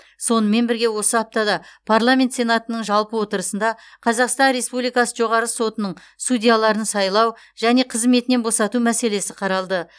сонымен бірге осы аптада парламент сенатының жалпы отырысында қазақстан республикасы жоғарғы сотының судьяларын сайлау және қызметінен босату мәселесі қаралды